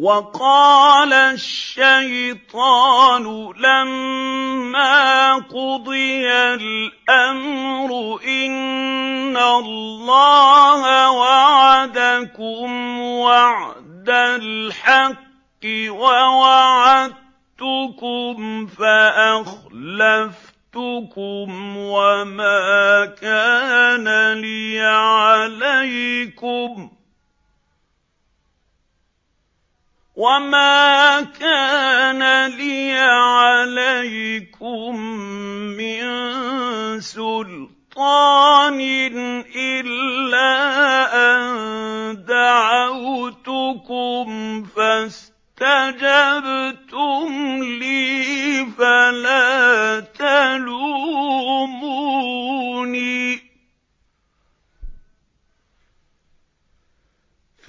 وَقَالَ الشَّيْطَانُ لَمَّا قُضِيَ الْأَمْرُ إِنَّ اللَّهَ وَعَدَكُمْ وَعْدَ الْحَقِّ وَوَعَدتُّكُمْ فَأَخْلَفْتُكُمْ ۖ وَمَا كَانَ لِيَ عَلَيْكُم مِّن سُلْطَانٍ إِلَّا أَن دَعَوْتُكُمْ فَاسْتَجَبْتُمْ لِي ۖ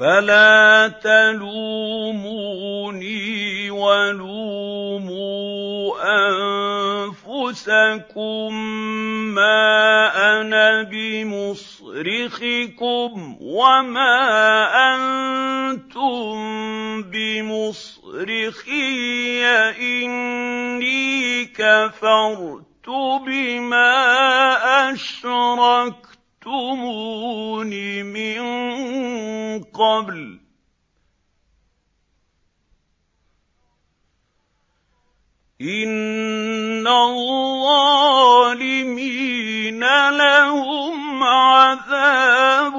فَلَا تَلُومُونِي وَلُومُوا أَنفُسَكُم ۖ مَّا أَنَا بِمُصْرِخِكُمْ وَمَا أَنتُم بِمُصْرِخِيَّ ۖ إِنِّي كَفَرْتُ بِمَا أَشْرَكْتُمُونِ مِن قَبْلُ ۗ إِنَّ الظَّالِمِينَ لَهُمْ عَذَابٌ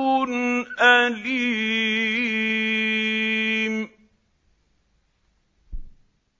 أَلِيمٌ